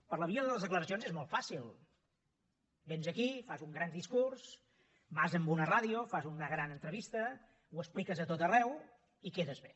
per la via de les declaracions és molt fàcil véns aquí fas un gran discurs vas a una ràdio fas una gran entrevista ho expliques a tot arreu i quedes bé